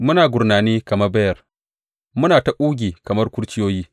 Muna gurnani kamar beyar; muna ta ƙugi kamar kurciyoyi.